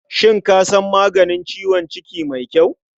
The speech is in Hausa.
Shin ka san maganin ciwon ciki mai kyau?